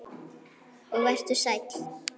Og vertu sæll.